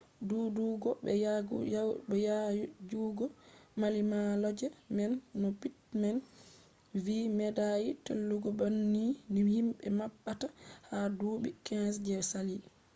duudugo be yaajugo mallimalloje man no pittman vi medai tullugo banni ni himbe mabbata ha duubi 15 je sali